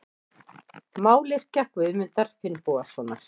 Mályrkja Guðmundar Finnbogasonar.